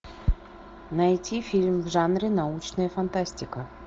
найти фильм в жанре научная фантастика